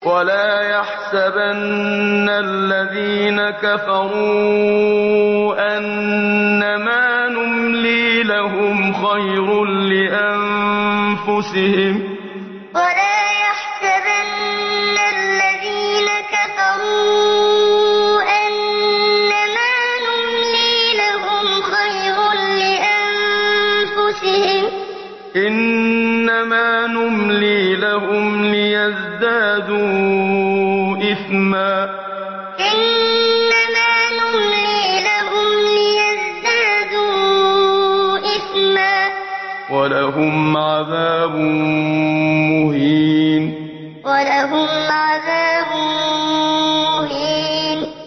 وَلَا يَحْسَبَنَّ الَّذِينَ كَفَرُوا أَنَّمَا نُمْلِي لَهُمْ خَيْرٌ لِّأَنفُسِهِمْ ۚ إِنَّمَا نُمْلِي لَهُمْ لِيَزْدَادُوا إِثْمًا ۚ وَلَهُمْ عَذَابٌ مُّهِينٌ وَلَا يَحْسَبَنَّ الَّذِينَ كَفَرُوا أَنَّمَا نُمْلِي لَهُمْ خَيْرٌ لِّأَنفُسِهِمْ ۚ إِنَّمَا نُمْلِي لَهُمْ لِيَزْدَادُوا إِثْمًا ۚ وَلَهُمْ عَذَابٌ مُّهِينٌ